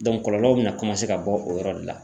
kɔlɔlɔw bɛna komase ka bɔ o yɔrɔ de la.